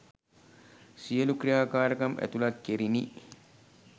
සියලූ ක්‍රියාකාරකම් ඇතුළත් කෙරිනි.